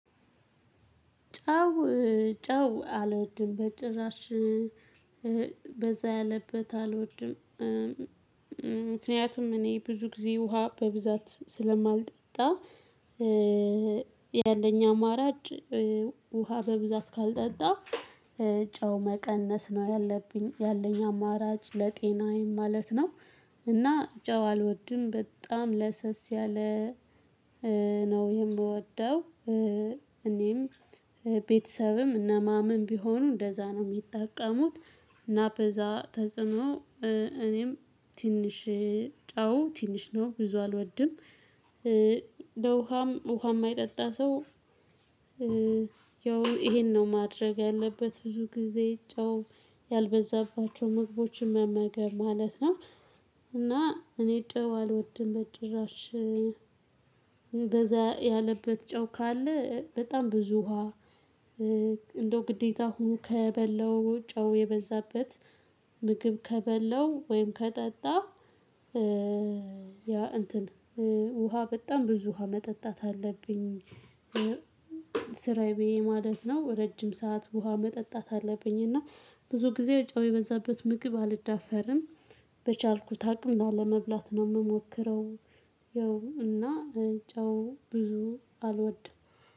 ጨው ጨው አልወድም በጭራሽ፤ በዛ ያለበት አልወድም። ምክንያቱም እኔ ብዙ ጊዜ ውሃ በብዛት ስለማልጠጣ፤ ያለኝ አማራጭ ውሃ በብዛት ካልጠጣው ጨው መቀነስ ነው ያለብኝ ያለኝ አማራጭ ለጤናዬም ማለት ነው። እና ጨው አልወድም በጣም ለሰስ ያለ ነው የምወደው። እኔም ቤተሰብም እነማምም ቢሆኑ እንደዛ ነው የሚጠቀሙት፤ እና በዛ ተጽዕኖ እኔም ትንሽ ጨው ትንሽ ነው ብዙ አልወድም። ለውሃም ውሃ የማይጠጣ ሰው ያው ይሄን ነው ማድረግ ያለበት ብዙ ጊዜ ጨው ያልበዛባቸው ምግቦችን መመገብ ማለት ነው። እና እኔ ጨው አልወድም በጭራሽ በዛ ያለበት ጨው ካለ በጣም ብዙ ውሃ እንደው ግዴታ ሁኖ ከበላው ጨው የበዛበት ምግብ ከበላው ወይም ከጠጣው ያ እንትን ውሃ በጣም ብዙ ውሃ መጠጣት አለብኝ። ስራዬ ብዬ ማለት ነው ረጅም ሰዓት ውሃ መጠጣት አለብኝ፤ እና ብዙ ጊዜ ጨው የበዛበት ምግብ አልዳፈርም። በቻልኩት አቅም ላለመብላት ነው የምሞክረው ያው እና ጨው ብዙ አልወድም።